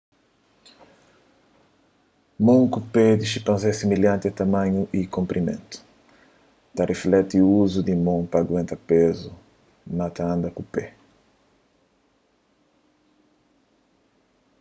mon ku pé di xinpanzé é similhanti na tamanhu y konprimentu ta riflekti uzu di mon pa aguenta pezu na ta anda ku pé